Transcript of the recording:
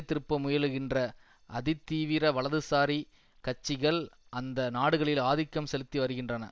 திருப்ப முயலுகின்ற அதிதீவிர வலதுசாரி கட்சிகள் அந்த நாடுகளில் ஆதிக்கம் செலுத்தி வருகின்றன